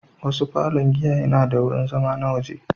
Wasu falon giya yana da wurin zama na waje.